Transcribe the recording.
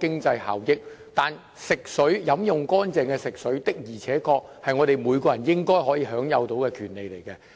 經濟效益，但飲用清潔的食水的確是每個人應該享有的權利。